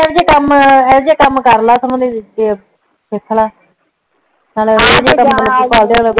ਆਹੋ ਜੀਅ ਕੰਮ ਆਹੋ ਜੀਅ ਕੰਮ ਕਰ ਲੈ ਸਗੋ ਸਿਖ ਲਾ ਨਾਲੇ